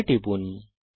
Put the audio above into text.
OK টিপুন